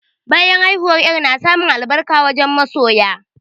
Bayan haihuwa, yarp na samun albarka wajen masoya.